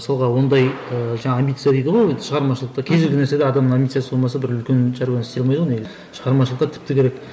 мысалға ондай ыыы жаңағы амбиция дейді ғой ы шығармашылықтт кез келген нәрседе адамның амбициясы болмаса бір үлкен шаруаны істей алмайды ғой негізі шығармашылықта тіпті керек